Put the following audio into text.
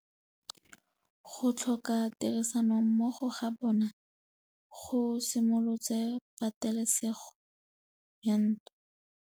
Go tlhoka tirsanommogo ga bone go simolotse patêlêsêgô ya ntwa.